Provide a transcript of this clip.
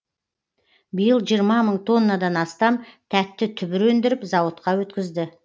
биыл жиырма мың тоннадан астам тәтті түбір өндіріп зауытқа өткізді